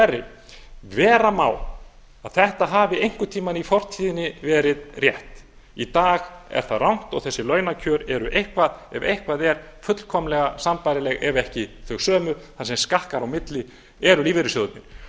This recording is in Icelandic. verri vera má að þetta hafi einhvern tíma í fortíðinni verið rétt í dag er það rangt og þessi launakjör eru ef eitthvað er fullkomlega sambærileg ef ekki þau sömu það sem skakkar á milli eru lífeyrissjóðirnir